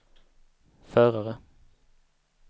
förare